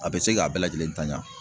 A bɛ se k'a bɛɛ lajɛlen ta ɲan.